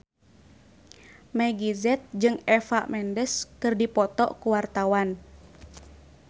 Meggie Z jeung Eva Mendes keur dipoto ku wartawan